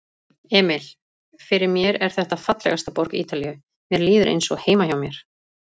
Emil: Fyrir mér er þetta fallegasta borg Ítalíu, mér líður eins og heima hjá mér.